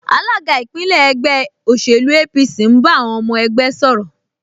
Alága ìpínlẹ̀ ẹgbẹ́ òṣèlú APC ń bá àwọn ọmọ ẹgbẹ́ sọ̀rọ̀